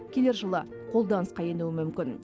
келер жылы қолданысқа енуі мүмкін